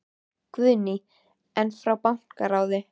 Guðný: En frá bankaráði?